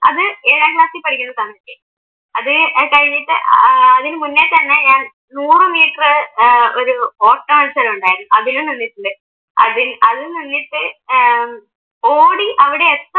അത് ഏഴാം ക്ലാസ്സിൽ പഠിക്കുന്ന സമയത്ത് അത് കഴിഞ്ഞിട്ട് ഏർ അതിനു മുന്നേ തന്നെ ഞാൻ നൂറ് മീറ്ററ് ഏർ ഒരു ഓട്ട മൽസരം ഉണ്ടായിരുന്നു അതിന് നിന്നിട്ടുണ്ട്. അത് നിന്നിട്ട് ഏർ ഓടി അവിടെ